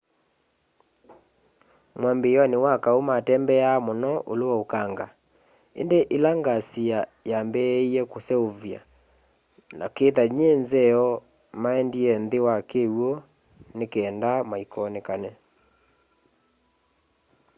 mwambiioni wa kaũ matembeaa muno ulũ wa ukanga indĩ ila ngasi yaambie kuseuvya na kitha nyĩ nzeo maendie nthini wa kiwũ ni kenda maikonekane